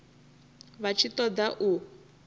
vha tshi ṱo ḓa u